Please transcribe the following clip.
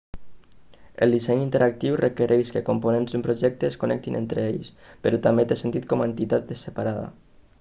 el disseny interactiu requereix que components d'un projecte es connectin entre ells però també té sentit com a entitat separada